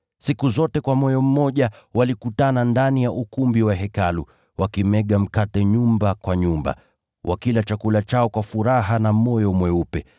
Siku zote kwa moyo mmoja walikutana ndani ya ukumbi wa Hekalu, wakimega mkate nyumba kwa nyumba, wakila chakula chao kwa furaha na moyo mweupe,